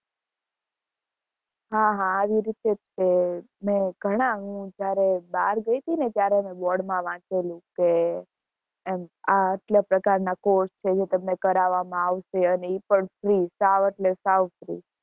હા હા, આવી રીતે જ તે મેં ઘણા હું જયારે બહાર ગઈ'તી ને ત્યારે મેં board માં વાંચેલું કે એમ, આ આટલા પ્રકારના course છે, જે તમને કરાવવામાં આવશે અને ઈ પણ free સાવ એટલે સાવ free